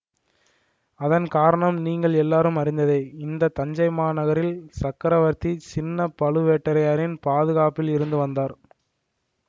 அதன் காரணம் நீங்கள் எல்லாரும் அறிந்ததே இந்த தஞ்சைமா நகரில் சக்கரவர்த்தி சின்ன பழுவேட்டரையரின் பாதுகாப்பில் இருந்து வந்தார்